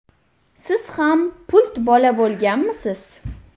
Siz ham pult bola bo‘lganmisiz?.